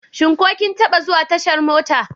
Shin ko kin taɓa zuwa tashar mota?